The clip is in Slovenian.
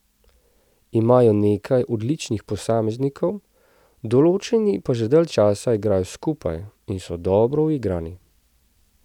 Imajo nekaj odličnih posameznikov, določeni pa že dalj časa igrajo skupaj in so dobro uigrani.